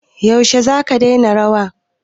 Yaushe za ka daina rawa?